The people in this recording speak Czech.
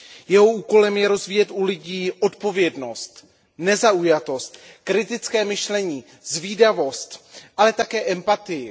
Jeho úkolem je rozvíjet u lidí odpovědnost, nezaujatost, kritické myšlení, zvídavost, ale také empatii.